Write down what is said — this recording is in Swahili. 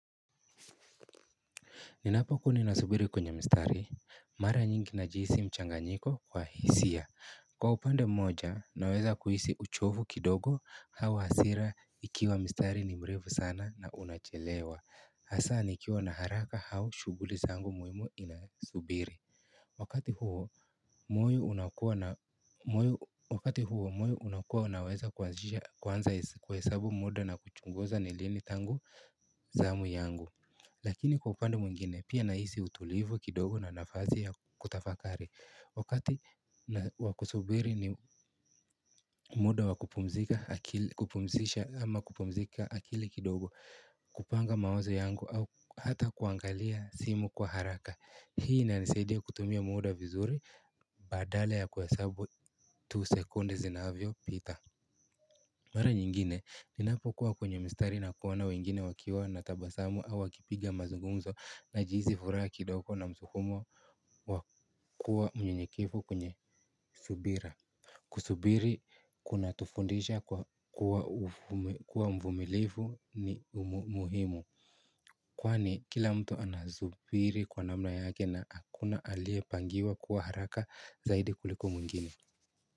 Ninapokuni nasubiri kwenye mstari, mara nyingi na jihisi mchanganyiko wa hisia. Kwa upande mmoja, naweza kuhisi uchovu kidogo au hasira ikiwa mstari ni mrefu sana na unachelewa. Hasa nikiwa naharaka au shuguli zangu muhimu inasubiri. Wakati huo wakati huo, moyo unakua unaweza kwanza kuhesabu muda na kuchunguza nilini tangu zamu yangu. Lakini kwa upande mwengine pia nahisi utulivu kidogo na nafasi ya kutafakari. Wakati wakusubiri ni muda wakupumzisha ama kupumzika akili kidogo kupanga mawazo yangu au hata kuangalia simu kwa haraka. Hii ina nisaidia kutumia muda vizuri badala ya kuhesabu tu sekunde zinavyo pita. Mwara nyingine, ninapo kuwa kwenye mstari na kuona wengine wakiwa na tabasamu au wakipiga mazungumzo na jihisi furaha kidogo na msukumo. Wakua mnyenyekevu kwenye subira. Kusubiri kuna tufundisha kwa kuwa mvumilivu ni umuhimu kwani kila mtu anasubiri kwa namna yake na akuna alie pangiwa kuwa haraka zaidi kuliko mwingine.